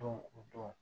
Don o don